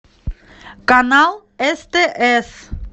канал стс